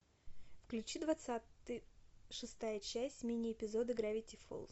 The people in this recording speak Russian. включи двадцатый шестая часть мини эпизода гравити фолз